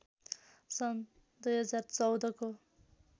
सन् २०१४ को